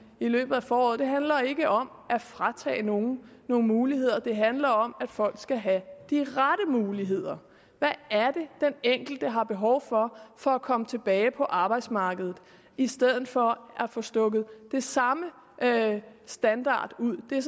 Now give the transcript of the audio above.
i løbet foråret handler ikke om at fratage nogle nogle muligheder det handler om at folk skal have de rette muligheder hvad er det den enkelte har behov for for at komme tilbage på arbejdsmarkedet i stedet for at få stukket den samme standard ud det er